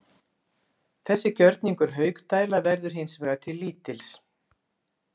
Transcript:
Þessi gjörningur Haukdæla verður hins vegar til lítils.